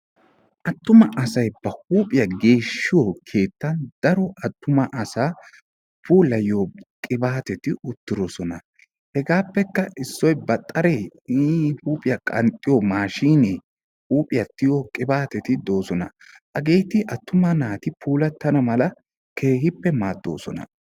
attuma asay ba huuphiya geeshshiyo keettan daro asaa puulayiyoo qibaatetti de'oosona, hegaappekka issoy baxxaree iini huuphiya qanxxiyo miishshay de'ees, hageeti attuma naati puulatana mala keehippe maadoosona.